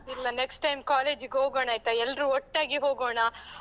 ಇಲ್ಲ, next time college ಗ್ ಹೋಗೋಣ ಆಯ್ತಾ? ಎಲ್ರೂ ಒಟ್ಟಾಗಿ ಹೋಗೋಣ.